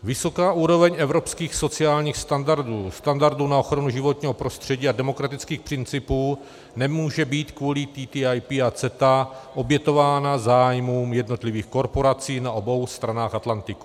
Vysoká úroveň evropských sociálních standardů, standardů na ochranu životního prostředí a demokratických principů nemůže být kvůli TTIP a CETA obětována zájmům jednotlivých korporací na obou stranách Atlantiku.